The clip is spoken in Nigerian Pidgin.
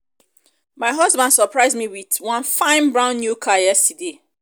um my um husband surprise me with wan fine brand new car yesterday